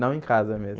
Não, em casa mesmo.